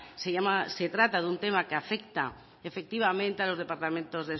se trata de un tema que afecta efectivamente a los departamentos